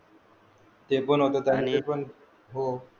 ते पण होत त्यांच पण